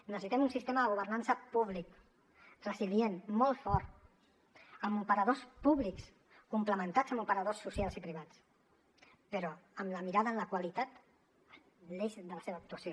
necessitem un sistema de governança públic resilient molt fort amb operadors públics complementats amb operadors socials i privats però amb la mirada en la qualitat l’eix de la seva actuació